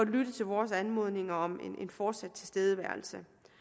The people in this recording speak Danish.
lytte til vores anmodninger om en fortsat tilstedeværelse